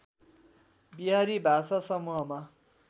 बिहारी भाषा समूहमा